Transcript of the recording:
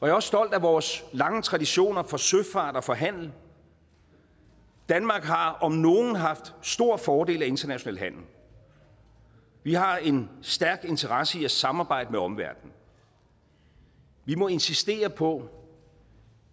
er også stolt af vores lange traditioner for søfart og for handel danmark har om nogen haft stor fordel af international handel vi har en stærk interesse i at samarbejde med omverdenen vi må insistere på